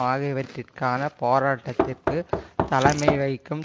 ஆகியவற்றிற்கான போராட்டத்திற்கு தலைமை வகிக்கும்